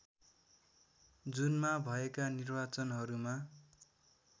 जुनमा भएका निर्वाचनहरूमा